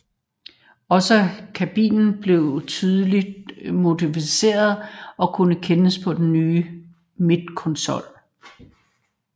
Også kabinen blev tydeligt modificeret og kunne kendes på den nye midterkonsol